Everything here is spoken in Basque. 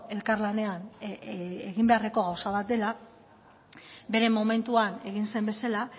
elkarlanean egin beharreko gauza bat dela bere momentuan egin zen bezala